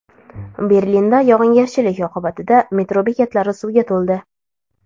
Berlinda yog‘ingarchilik oqibatida metro bekatlari suvga to‘ldi .